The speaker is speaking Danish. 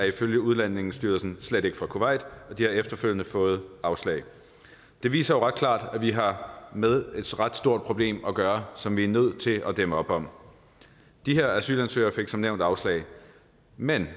ifølge udlændingestyrelsen slet ikke fra kuwait og de har efterfølgende fået afslag det viser jo ret klart at vi har med et ret stort problem at gøre som vi er nødt til at dæmme op for de her asylansøgere fik som nævnt afslag men